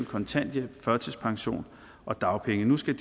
kontanthjælp førtidspension og dagpenge nu skal